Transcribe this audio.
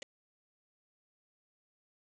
Og nú er ég komin!